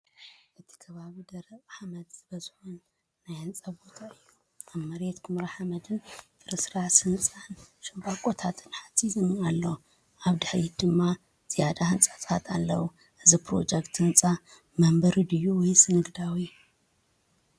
እቲ ከባቢ ደረቕን ሓመድ ዝበዝሖን ናይ ህንጻ ቦታ እዩ። ኣብ መሬት ኵምራ ሓመድን ፍርስራስ ህንጻን ሻምብቆታት ሓጺንን ኣሎ። ኣብ ድሕሪት ድማ ዝያዳ ህንጻታትን ኣለዉ። እዚ ፕሮጀክት ህንጻ መንበሪ ድዩ ወይስ ንግዳዊ?